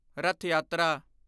ਰਥ ਯਾਤਰਾ